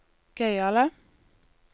gøyale